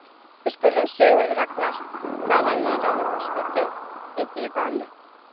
Við spurðum Sigurð Ragnar hvað hefði ráðið úrslitum í því vali.